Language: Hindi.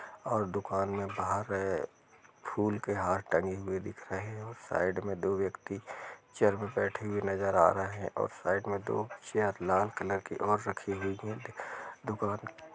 और दुकान में बाहर रे फूल के हार टंगे हुए दिख रहे हैं साइड में दो व्यक्ति चेयर मैं बैठे हुए नजर आ रहे हैं और साइड में दो चेयर लाल कलर की और रखी हुई हैं दुकान--